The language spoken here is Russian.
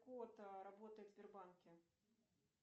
кот работает в сбербанке